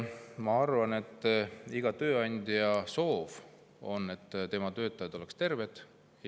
Ma arvan, et iga tööandja soov on, et tema töötajad oleksid terved.